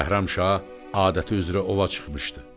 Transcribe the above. Bəhramşah adəti üzrə ova çıxmışdı.